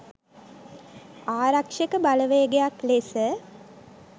ආරක්ෂක බලවේගයක් ලෙස